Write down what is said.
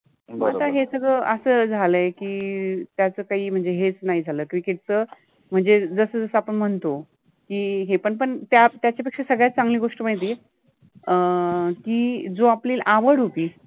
बरोबर आहे, आता हे सगळ अ‍स झाल आहे कि त्याच काहि हेच नाहि झाल cricket च मनजे जस जस आपन मनतो हे पण पण त्या त्याच्यापेपेक्षा सगळ्यात चांगलि गोष्ट मनजे अ कि जो आपलि आवड होति